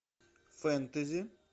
фэнтези